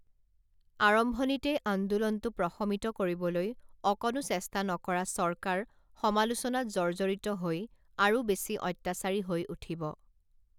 আৰম্ভণিতেই আন্দোলনটো প্ৰশমিত কৰিবলৈ অকণো চেষ্টা নকৰা চৰকাৰ সমালোচনাত জৰ্জৰিত হৈ আৰু বেছি অত্যাচাৰী হৈ উঠিব